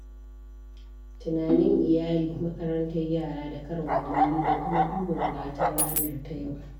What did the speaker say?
Tunanin iyali, makarantar yara, da karin kummalo da kuma duba buƙatun ranar ta yau